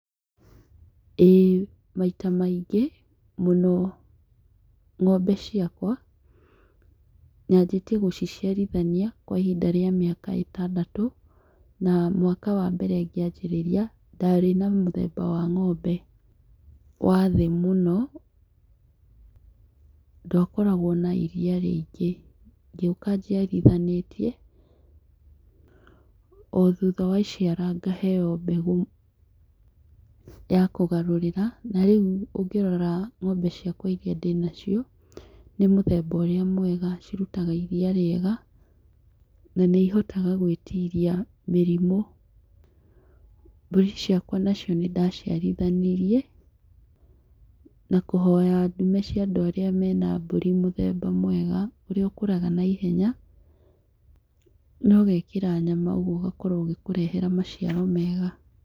Ĩĩ maita maingĩ mũno ng'ombe ciakwa, nyanjĩtie gũciciarithania kwa ihinda rĩa ĩtandatũ na mwaka wa mbere ngĩanjĩrĩria ndarĩ na mũthemba wa ng'ombe wa thĩ mũno, ndwakoragwo na iria rĩingĩ ngĩũka njiarithanĩtie o thutha wa iciara ngaheo mbegũ ya kũgarũrĩra, na rĩu ũngĩrora ng'ombe ciakwa iria ndĩnacio nĩ mũthemba ũrĩa mwega cirutaga iria rĩega na nĩ ihotaga gwĩtiria mĩrimũ, mbũri ciakwa nacio nĩndaciarithanirie na kũhoya ndume cia andũ arĩa mena mbũri mũthega mwega ũrĩa ũkũraga naihenya nogekĩra nyama ũguo ũgakorwo ũgĩkũrehera maciaro mega.